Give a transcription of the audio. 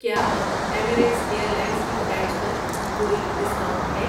کیا اب Emirates airlines کی فلائٹس پر کوئی ڈسکاؤنٹ ہے؟